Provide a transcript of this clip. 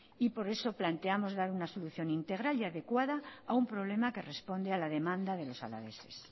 por eso plantemos dar una solución integral y adecuada a un problema que responde a la demanda de los alaveses